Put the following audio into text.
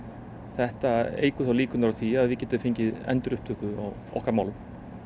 þetta eykur þá líkurnar á því að við getum fengið endurupptöku á okkar málum